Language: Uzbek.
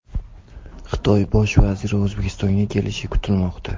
Xitoy bosh vaziri O‘zbekistonga kelishi kutilmoqda.